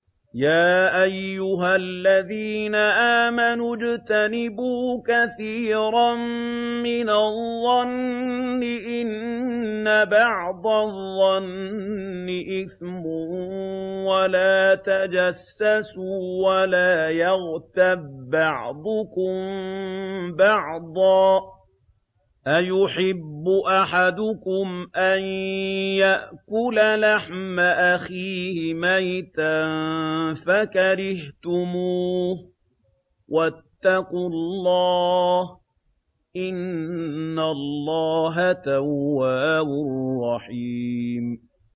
يَا أَيُّهَا الَّذِينَ آمَنُوا اجْتَنِبُوا كَثِيرًا مِّنَ الظَّنِّ إِنَّ بَعْضَ الظَّنِّ إِثْمٌ ۖ وَلَا تَجَسَّسُوا وَلَا يَغْتَب بَّعْضُكُم بَعْضًا ۚ أَيُحِبُّ أَحَدُكُمْ أَن يَأْكُلَ لَحْمَ أَخِيهِ مَيْتًا فَكَرِهْتُمُوهُ ۚ وَاتَّقُوا اللَّهَ ۚ إِنَّ اللَّهَ تَوَّابٌ رَّحِيمٌ